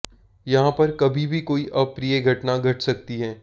यहां पर कभी भी कोई अप्रिय घटना घट सकती है